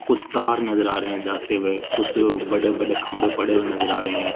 कुछ तार नजर आ रहे हैं जाते हुए कुछ बड़े-बड़े खंभे पड़े हुए नजर आ रहे हैं।